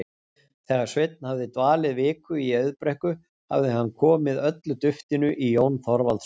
Þegar Sveinn hafði dvalið viku í Auðbrekku hafði hann komið öllu duftinu í Jón Þorvaldsson.